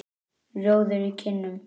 Rjóður í kinnum.